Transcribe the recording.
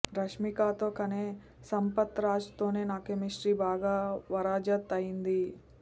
రష్మికతో కనే సంపత్ రాజ్ తో నా కెమిస్ట్రీ బాగా వరాజత్ అయ్యింది